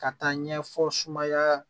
Ka taa ɲɛfɔ sumaya